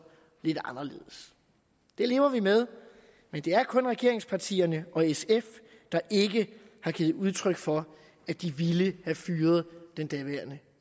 lidt anderledes det lever vi med men det er kun regeringspartierne og sf der ikke har givet udtryk for at de ville have fyret den daværende